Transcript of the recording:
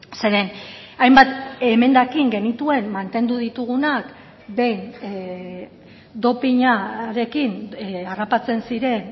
zeren hainbat emendakin genituen mantendu ditugunak behin dopinarekin harrapatzen ziren